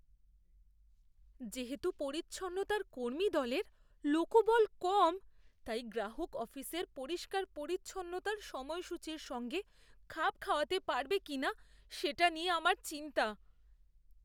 যেহেতু পরিচ্ছন্নতার কর্মীদলের লোকবল কম, তাই গ্রাহক অফিসের পরিষ্কার পরিচ্ছন্নতার সময়সূচীর সঙ্গে খাপ খাওয়াতে পারবে কিনা সেটা নিয়ে আমার চিন্তা।